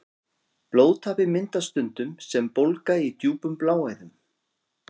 Blóðtappi myndast stundum sem bólga í djúpum bláæðum.